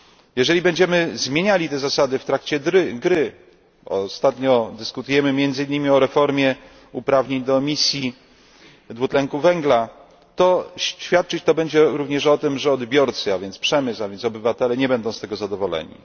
Jeżeli będziemy zmieniali te zasady w trakcie gry ostatnio dyskutujemy między innymi o reformie uprawnień do emisji dwutlenku węgla świadczyć to będzie również o tym, że odbiorcy, a więc również przemysł i więc obywatele, nie będą z tego zadowoleni.